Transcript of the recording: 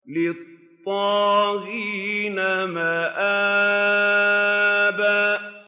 لِّلطَّاغِينَ مَآبًا